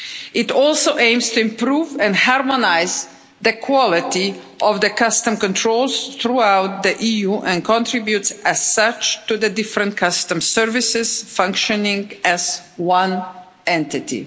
It also aims to improve and harmonise the quality of customs controls throughout the EU and contributes as such to the different customs services functioning as one entity.